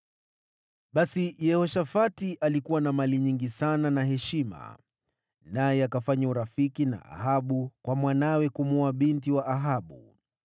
Basi, Yehoshafati alikuwa na mali nyingi sana na heshima. Naye akafanya urafiki na Ahabu kwa mwanawe kumwoa binti wa Ahabu.